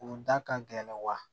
U da ka gɛlɛn wa